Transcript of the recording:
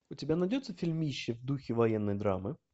у тебя найдется фильмище в духе военной драмы